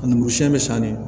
A numu siɲɛ bɛ san ne